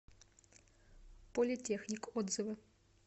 политехник отзывы